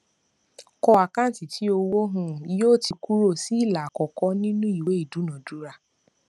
kọ àkáǹtì tí owó um yóò ti kúrò sí ìlà àkọkọ ìnú ìwé idúnadúrà